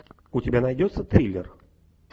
у тебя найдется триллер